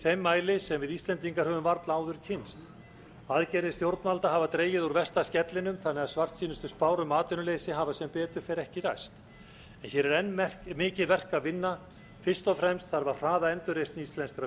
þeim mæli sem við íslendingar höfum varla áður kynnst aðgerðir stjórnvalda hafa dregið úr versta skellinum þannig að svartsýnustu spár um atvinnuleysi hafa sem betur fer ekki ræst hér er enn mikið verk að vinna fyrst og fremst þarf að hraða endurreisn íslenskra